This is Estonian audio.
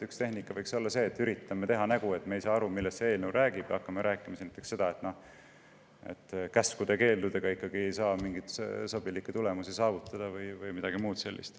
Üks tehnika võib-olla olekski see, et üritame teha nägu, et me ei saa aru, millest see eelnõu räägib, ja hakkame rääkima näiteks sellest, et käskude ja keeldudega ei saa mingeid sobilikke tulemusi saavutada või midagi muud sellist.